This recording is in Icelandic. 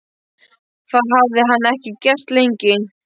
Það hafði hann ekki gert lengi.